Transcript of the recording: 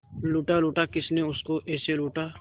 लूटा लूटा किसने उसको ऐसे लूटा